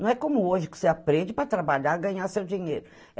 Não é como hoje, que você aprende para trabalhar, ganhar o seu dinheiro.